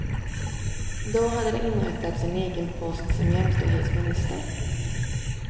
Då hade det inrättats en egen post som jämställdhetsminister.